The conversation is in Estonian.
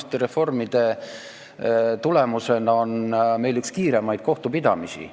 Viimaste reformide tulemusena on meil üks kiiremaid kohtupidamisi.